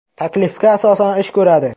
taklifga asosan ish ko‘radi.